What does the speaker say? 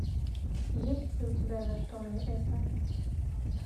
есть ли у тебя за что мне это